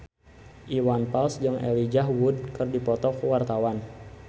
Iwan Fals jeung Elijah Wood keur dipoto ku wartawan